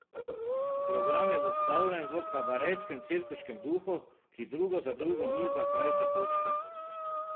Program je zastavljen v kabarejskem cirkuškem duhu, ki drugo za drugo niza krajše točke.